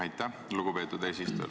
Aitäh, lugupeetud eesistuja!